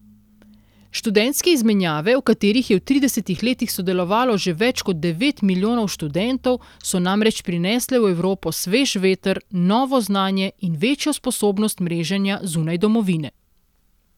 Študentske izmenjave, v katerih je v tridesetih letih sodelovalo že več kot devet milijonov študentov, so namreč prinesle v Evropo svež veter, novo znanje in večjo sposobnost mreženja zunaj domovine.